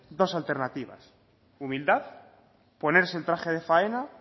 dos alternativa humildad ponerse el traje de faena